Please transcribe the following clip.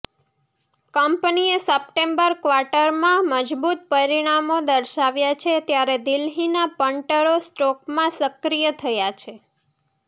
કંપનીએ સપ્ટેમ્બર ક્વાર્ટરમાં મજબૂત પરિણામો દર્શાવ્યા છે ત્યારે દિલ્હીના પન્ટરો સ્ટોકમાં સક્રિય થયા છે